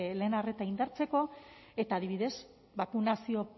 lehen arreta indartzeko eta adibidez bakunazio